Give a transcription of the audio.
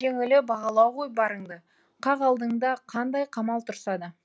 жеңілі бағалау ғой барыңды қақ алдыңда қандай қамал тұрса да